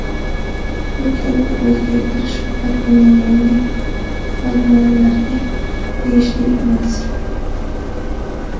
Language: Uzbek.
Bu kabi o‘zgartish faqatgina yangi flagmanlarga tegishli emas.